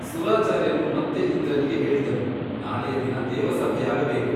ಸುರಾಚಾರ್ಯನು ಮತ್ತೆ ಇಂದ್ರನಿಗೆ ಹೇಳಿದನು ನಾಳೆಯ ದಿನ ದೇವಸಭೆಯಾಗಬೇಕು.